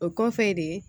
O kɔfɛ de